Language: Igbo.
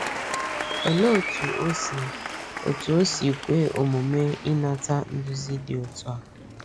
Olee otú o si otú o si kwe omume inata nduzi dị otu a?